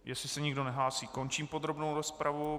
Jestli se nikdo nehlásí, končím podrobnou rozpravu.